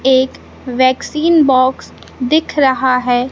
एक vaccine box दिख रहा है।